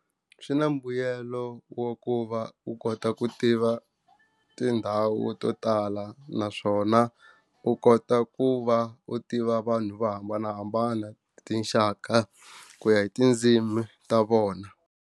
Swi na mbuyelo wa ku va u kota ku tiva tindhawu to tala naswona u kota ku va u tiva vanhu vo hambanahambana tinxaka ku ya hi tindzimi ta vona.